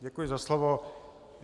Děkuji za slovo.